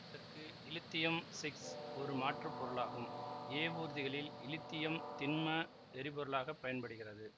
இதற்கு இலித்தியம் சிஸ் ஒரு மாற்று பொருளாகும் ஏவூர்திகளில் இலித்தியம் திண்ம எரி பொருளாக பயன்படுகிறது